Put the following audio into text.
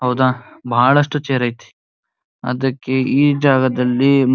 ಹೌದಾ ಬಹಳಷ್ಟು ಚೇರ್ ಐತಿ ಅದಕ್ಕೆ ಈ ಜಾಗದಲ್ಲಿ --